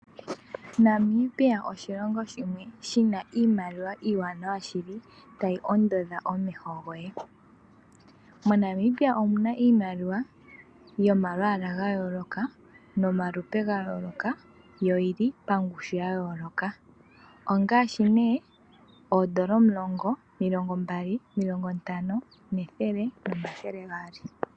Namibia oshilingo shimwe shi na iimaliwa iiwanawa shili, ta yi ondodha omeho goye. MoNamibia omu na iimaliwa yomalwaala ga yooloka, nomalupe ga yooloka, yo oyi li pangushu ya yooloka. Ongaashi ne, oondola omulongo, omilongo mbali, omilongo ntano , ethele nomathele gaali.